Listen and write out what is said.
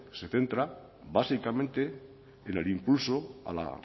se centra básicamente en el impulso a la